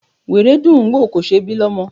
Wèrè dùn ún wò, kò ṣe ẹ́ bí lọ́mọ.